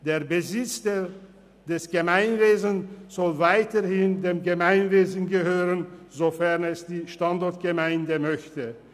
Der Besitz des Gemeinwesens soll weiterhin dem Gemeinwesen gehören, sofern es die Standortgemeinde möchte.